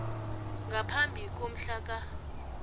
ngaphambi komhla ka